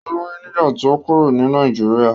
Ó lóyún nígbà tí ó kúrò ní Nàìjíríà.